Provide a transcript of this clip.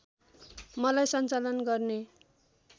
मलाई सञ्चालन गर्ने